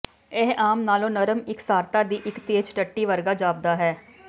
ਇਹ ਆਮ ਨਾਲੋਂ ਨਰਮ ਇਕਸਾਰਤਾ ਦੀ ਇੱਕ ਤੇਜ਼ ਟੱਟੀ ਵਰਗਾ ਜਾਪਦਾ ਹੈ